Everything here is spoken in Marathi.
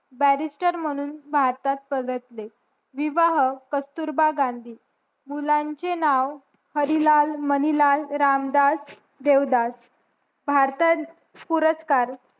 बॅरिस्टर म्हणून भारतात परतले विवाह कस्तुरबा गांधी मुलांचे नाव हरिलाल मणिलाल रामदास देवदास भारतात पुरस्कार